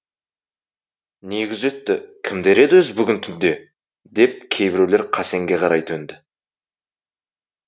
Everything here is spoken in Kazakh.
не күзетті кімдер еді өзі бүгін түнде деп кейбіреулер қасенге қарай төнді